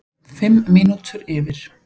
Fimm mínútur yfir